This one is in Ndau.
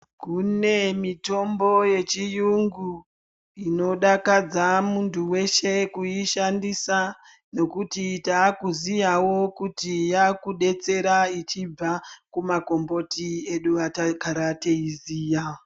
Kune mitombo yechiyungu inodakadza muntu weshe kuyishandisa, nokuti taakuziyawo kuti yakudetsera ichibva kumagomboti edu atagara teyiziya.